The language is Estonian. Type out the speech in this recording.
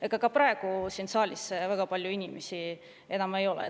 Ega ka praegu siin saalis väga palju inimesi enam ei ole.